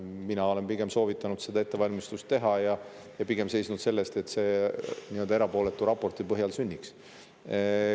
Mina olen pigem soovitanud seda ettevalmistust teha ja seisnud selle eest, et see nii-öelda erapooletu raporti põhjal sünniks.